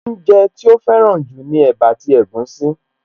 Oúnjẹ tí ó fẹ́ràn jù ni ẹ̀bá àti egusi